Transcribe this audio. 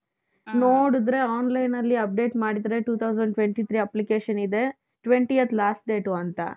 ನೋಡುದ್ರೆ onlineಅಲ್ಲಿ update ಮಾಡಿದ್ರೆ Two thousand Twenty Three application ಇದೆ twentieth last date ಅಂತ.